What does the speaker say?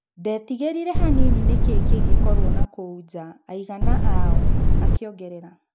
"Ndetigĩrire hanini nĩkĩĩ kĩngĩkorwo nakũu nja, aigana aao," akĩongerera.